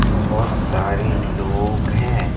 बहुत सारे लोग हैं।